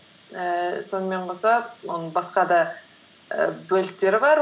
ііі сонымен қоса оның басқа да ііі бөліктері бар